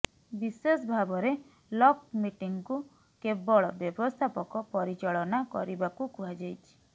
ବିଶେଷ ଭାବରେ ଲକ୍ ମିଟିଂକୁ କେବଳ ବ୍ୟବସ୍ଥାପକ ପରିଚାଳନା କରିବାକୁ କୁହାଯାଇଛି